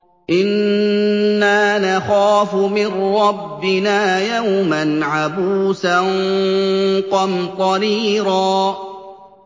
إِنَّا نَخَافُ مِن رَّبِّنَا يَوْمًا عَبُوسًا قَمْطَرِيرًا